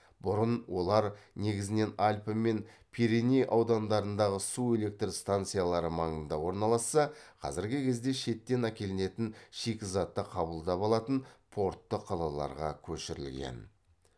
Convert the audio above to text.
бұрын олар негізінен альпы мен пиреней аудандарындағы су электр станциялары маңында орналасса қазіргі кезде шеттен әкелінетін шикізатты қабылдап алатын портты қалаларға көшірілген